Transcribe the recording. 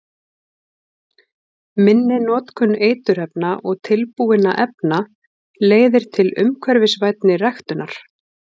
Minni notkun eiturefna og tilbúinna efna leiðir til umhverfisvænni ræktunar.